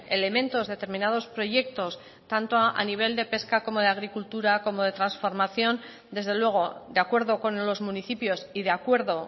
elementos determinados proyectos tanto a nivel de pesca como de agricultura como de transformación desde luego de acuerdo con los municipios y de acuerdo